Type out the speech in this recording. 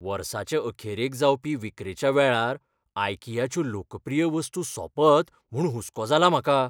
वर्साचे अखेरेक जावपी विक्रेच्या वेळार आयकियाच्यो लोकप्रीय वस्तू सोंपत म्हूण हुसको जाला म्हाका.